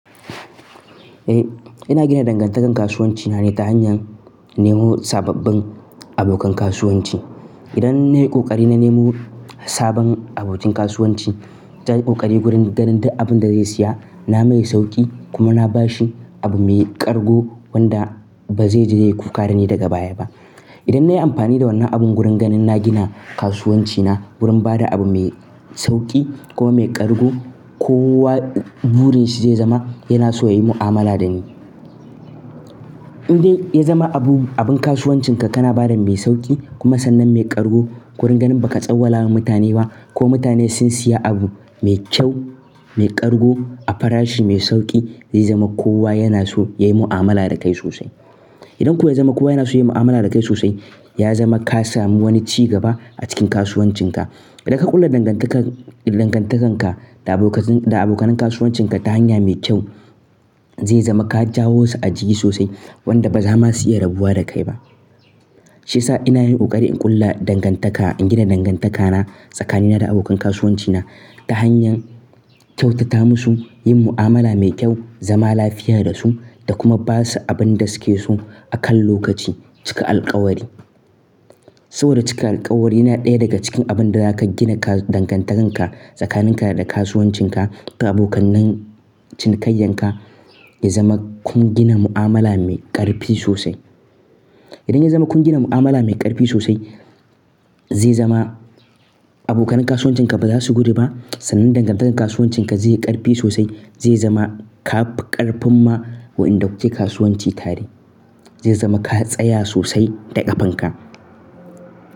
Eh, ina gina dangantakar kasuwanci na ta hanyar nemo sababbin abokan kasuwanci. Idan nayi ƙoƙari na nemo sabon abokin kasuwanci, ta yi ƙoƙari wurin ganin duka abin da zai siya, na mai sauƙi kuma na bashi abu mai ƙarƙo wanda ba zai je ya yi kukadani daga baya ba. Idan nayi amfani da wannan abun wurin ganin na gina kasuwanci na wurin bada abu mai sauƙi kuma mai ƙarko, kowa burin shi zai zama yana so ya yi mu'amala da ni. Idan ya zama abun kasuwancin ka kana bada mai sauƙi kuma sannan mai ƙarƙo, wurin ganin ba ka tsawala wa mutane ba ko mutane sun siya abu mai kyau, mai ƙarko a fara shi mai sauƙi, zai zama kowa yana so ya yi mu'amala da kai sosai. Idan kuwa ya zama kowa yana so ya yi mu'amala da kai sosai, ya zama ka sami wani ci gaba a cikin kasuwancin ka. Idan ka ƙulla dangantakar-- dangantakar ka da abokanin kasuwancin ka ta hanya mai kyau, zai zama ka jawo su a jiki sosai wanda ba za ma su iya rabuwa da kai ba. Shi ya sa ina yin ƙoƙari in ƙulla dangantaka, in gina dangantaka na tsakanina da abokan kasuwanci na ta hanyar kyautata musu, yin mu'amala mai kyau, zama lafiya da su da kuma ba su abin da suke so a kan lokaci cika alkawari. Saboda cika alkawari yana ɗaya daga cikin abun da zaka gina dangantakar ka tsakanin ka da kasuwancin ka da abokan cinikayyan ka, ya zama kun gina mu'amala mai ƙarfi sosai. Idan ya zama kun gina mu'amala mai ƙarfi sosai, zai zama abokanin kasuwancin ka ba za su gudu ba. Sannan dangantakar kasuwancin ka zai yi ƙarfi sosai, zai zama ka ƙarfin ma wanda wuce kasuwanci tare, zai zama ka tsaya sosai da ƙafan ka.